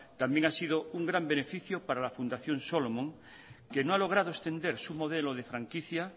también ha sido un gran beneficio para la fundación solomon que no ha logrado extendersu modelo de franquicia